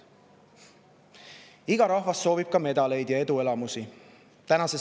Iga rahvas soovib ka medaleid ja eduelamusi.